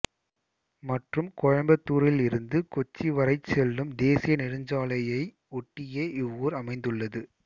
மற்றும் கோயம்புத்தூரிலிருந்து கொச்சி வரைச் செல்லும் தேசிய நெடுஞ்சாலையை ஒட்டியே இவ்வூர் அமைந்துள்ளது